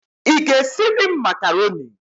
Ị ga-esiri m makaroni?